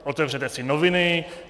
Otevřete si noviny.